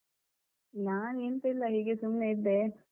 ನಾನೆಂತ ಇಲ್ಲ ಹೀಗೆ ಸುಮ್ನೆ ಇದ್ದೆ.